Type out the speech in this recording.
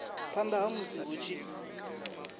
phanda ha musi hu tshi